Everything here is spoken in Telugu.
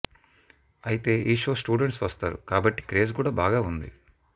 అయితే ఈ షో స్టూడెంట్స్ వస్తారు కాబట్టి క్రేజ్ కూడా బాగా ఉంది